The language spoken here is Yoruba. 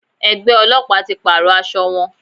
Ẹgbẹ́ Ọlọ́pàá ti pàrọ̀ aṣọ wọn.